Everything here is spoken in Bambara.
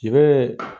I bɛ